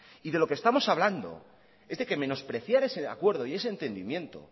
y de lo que estamos hablando es que menospreciar ese acuerdo y ese entendimiento